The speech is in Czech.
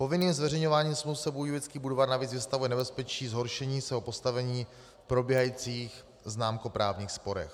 Povinným zveřejňováním smluv se Budějovický Budvar navíc vystavuje nebezpečí zhoršení svého postavení v probíhajících známkoprávních sporech.